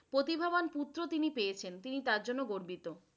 প্রতিভাবান পুত্র তিনি পেয়েছেন, তিনি তার জন্য গর্বিত।